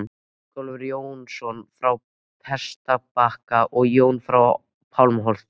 Ingólfur Jónsson frá Prestbakka og Jón frá Pálmholti.